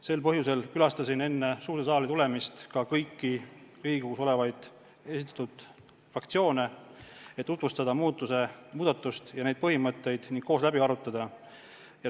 Sel põhjusel külastasin enne suurde saali tulemist ka kõiki Riigikogus olevaid fraktsioone, et tutvustada muudatust ja neid põhimõtteid ning need koos läbi arutada.